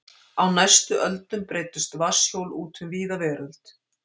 Á næstu öldum breiddust vatnshjól út um víða veröld.